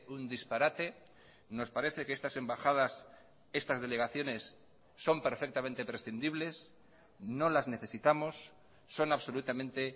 un disparate nos parece que estas embajadas estas delegaciones son perfectamente prescindibles no las necesitamos son absolutamente